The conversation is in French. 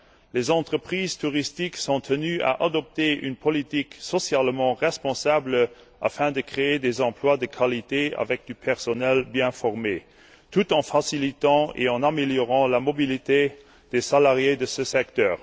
Les entreprises touristiques sont tenues d'adopter une politique socialement responsable, en créant des emplois de qualité pour du personnel qualifié, tout en facilitant et en améliorant la mobilité des salariés de ce secteur.